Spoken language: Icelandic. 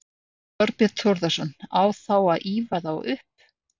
Þorbjörn Þórðarson: Á þá að ýfa þá upp?